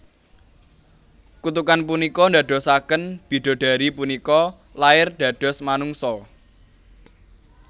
Kutukan punika ndadosaken bidodari punika lair dados manungsa